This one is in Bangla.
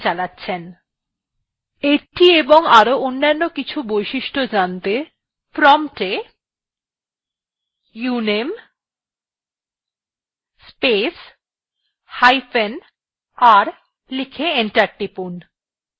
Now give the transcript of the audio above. এটি এবং আরো অনেক অন্যান্য বৈশিষ্ট্য জানতে prompt we uname space hyphen r লিখে enter টিপুন